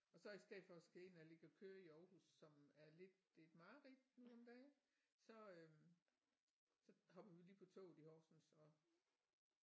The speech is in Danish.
Og så i stedet for at skal ind og ligge og køre i Aarhus som er lidt et mareridt nu om dage så øh så hopper vi lige på toget i Horsens og